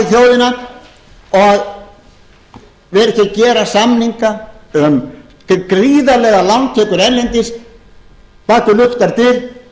þjóðina og vera ekki að gera samninga um gríðarlegar lántökur erlendis bak við luktar dyr